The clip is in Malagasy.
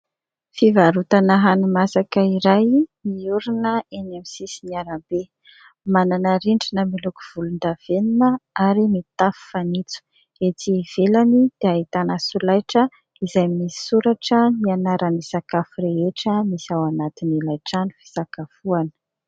Fivarotana hani-masaka iray niorina eny amin'ny sisin'ny arabe, manana rindrina miloko volondavenona ary mitafo fanitso. Etsy ivelany dia ahitana solaitra izay misoratra ny anaran'ny sakafo rehetra misy ao anatin'ilay trano fisakafoana.